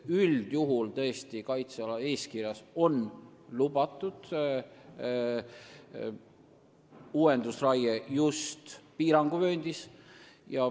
Üldjuhul on tõesti kaitseala eeskirjas uuendusraie piiranguvööndis lubatud.